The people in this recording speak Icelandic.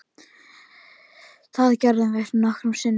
Það gerir Gerður nokkrum sinnum.